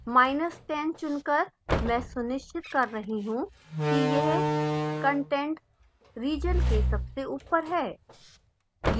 10 चुनकर मैं सुनिश्चित कर रही हूँ कि यह content रिजन के सबसे ऊपर है